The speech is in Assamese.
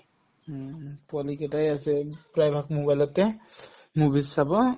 হুম, পোৱালি কেইটাই আছে প্ৰায়ভাগ mobile তে movies চাব